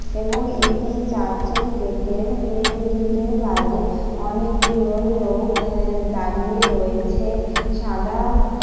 এবং এটি চার্চের গেটের মেন গেটের বাইরে অনেকগুলো লোক এ এ দাঁড়িয়ে রয়েছে। সাদা --